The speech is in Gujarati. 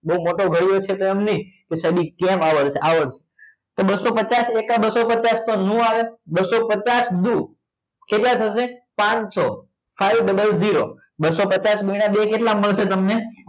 બહુ મોટો કર્યો છે એમ નહીં પણ સાહેબ કેમ આવડશે આવડશે બસસો પચાસ એકા બસસો પચાસ નો આવે બસસો પચાસ દુ કેટલા થશે પાનસો five double zero zero બસસો પચાસ ગુણ્યા બે કેટલા મળશે તમને